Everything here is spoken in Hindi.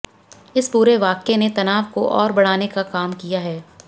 इस पूरे वाकये ने तनाव को और बढ़ाने का काम किया है